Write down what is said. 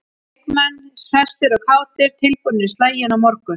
Leikmenn hressir og kátir- tilbúnir í slaginn á morgun.